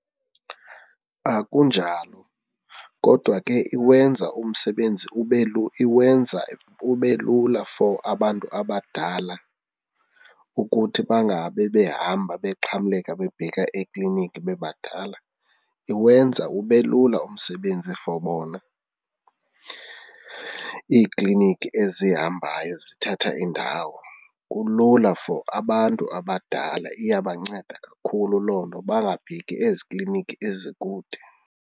Akunjalo kodwa ke iwenza umsebenzi ube iwenza ube lula for abantu abadala ukuthi bangabe behamba bexhamleka bebheka ekliniki bebadala. Iwenza ube lula umsebenzi for bona, iiklinikhi ezihambayo zithatha indawo kulula for abantu abadala, iyabanceda kakhulu loo nto bangabheki ezi klinikhi ezikude.